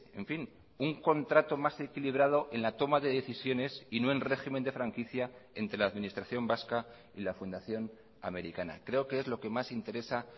en fin un contrato más equilibrado en la toma de decisiones y no en régimen de franquicia entre la administración vasca y la fundación americana creo que es lo que más interesa